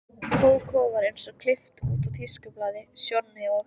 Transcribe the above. Kókó var eins og klippt út úr tískublaði, Sjonni og